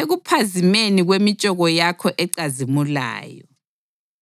ekuphazimeni kwemitshoko yakho ecazimulayo.